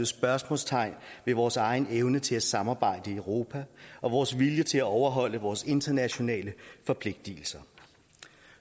spørgsmålstegn ved vores egen evne til at samarbejde i europa og vores vilje til at overholde vores internationale forpligtelser